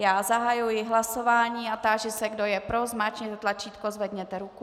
Já zahajuji hlasování a táži se, kdo je pro, zmáčkněte tlačítko, zvedněte ruku.